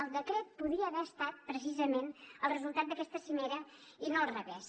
el decret podia haver estat precisament el resultat d’aquesta cimera i no al revés